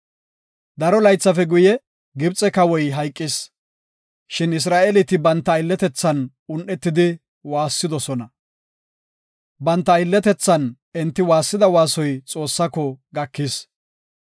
Daro laythafe guye Gibxe kawoy hayqis. Shin Isra7eeleti banta aylletethan un7etidi waassidosona. Banta aylletethan enti waassida waasoy Xoossaako gakis.